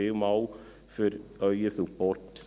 Vielen Dank für Ihren Support.